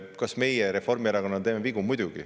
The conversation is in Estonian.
Kas meie Reformierakonnana teeme vigu?